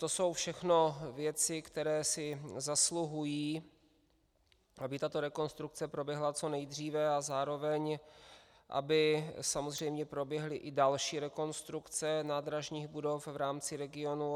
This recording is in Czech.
To jsou všechno věci, které si zasluhují, aby tato rekonstrukce proběhla co nejdříve a zároveň aby samozřejmě proběhly i další rekonstrukce nádražních budov v rámci regionu.